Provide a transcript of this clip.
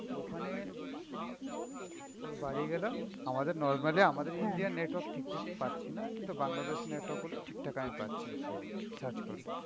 তো ওখানে ওর বাড়ি গালাম, আমাদের normally আমাদের Indian network ঠিকঠাক পাচ্ছিনা, কিন্তু বাংলাদেশ network গুলো ঠিকঠাক আমি পাচ্ছি. search করলে.